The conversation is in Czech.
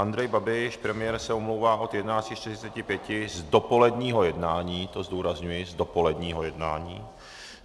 Andrej Babiš, premiér, se omlouvá od 11.45 z dopoledního jednání, to zdůrazňuji, z dopoledního jednání.